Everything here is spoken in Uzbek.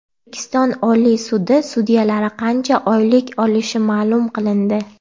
O‘zbekiston Oliy sudi sudyalari qancha oylik olishi ma’lum qilindi.